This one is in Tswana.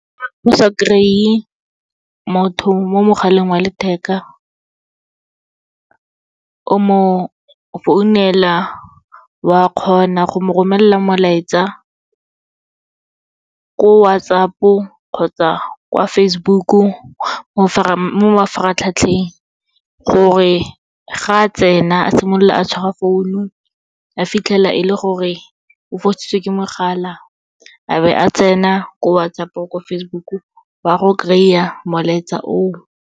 O sa kry-e motho mo mogaleng wa letheka, o mo founela, wa kgona go mo romelela molaetsa, ko WhatsApp-o kgotsa kwa Facebook-u, mo mafaratlhatlheng gore ga tsena a simolola a tshwara phone-u, a fitlhela e le gore o fositswe ke mogala, a be a tsena ko WhatsApp-o, ko Facebook-u wa go kry-a molaetsa oo.